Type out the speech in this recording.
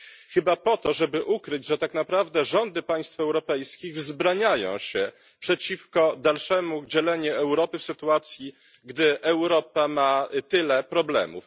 Chyba po to, by ukryć, że tak naprawdę rządy państw europejskich wzbraniają się przeciwko dalszemu dzieleniu Europy w sytuacji, gdy Europa ma już tyle problemów.